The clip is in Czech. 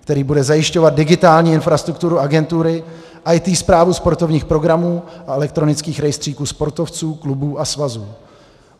který bude zajišťovat digitální infrastrukturu agentury, IT správu sportovních programů a elektronických rejstříků sportovců, klubů a svazů.